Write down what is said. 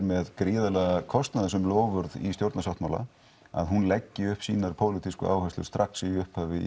með gríðarlega kostnaðarsöm loforð í stjórnarsáttmála að hún leggi upp sínar pólitísku áherslur strax í upphafi